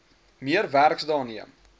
meer werksdae neem